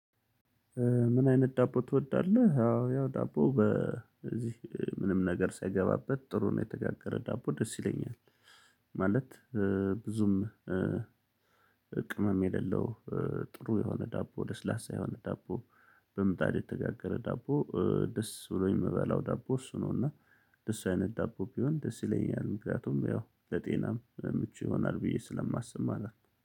ምን አይነት ዳቦ ትወዳለህ? አዎ ያው ዳቦ በዚህ ምንም ነገር ሳይገባበት ጥሩ ነው የተጋገረ ዳቦ ደስ ይለኛል። ማለት ብዙም ቅመም የሌለው። ጥሩ የሆነ ዳቦ ለስላሳ የሆነ ዳቦ በምጣድ የተጋገረ ዳቦ ደስ ብሎኝ የምበላው ዳቦ እሱ ነው። እና እንደሱ አይነት ዳቦ ቢሆን ደስ ይለኛል ምክንያቱም ያው ለጤናም ምቹ ይሆናል ብዬ ስለማስብ ማለት ነው